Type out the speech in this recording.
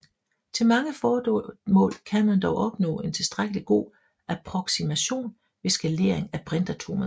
Til mange formål kan man dog opnå en tilstrækkelig god approksimation ved skalering af brintatomet